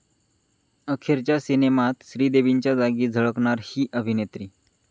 अखेरच्या सिनेमात श्रीदेवींच्या जागी झळकणार 'ही' अभिनेत्री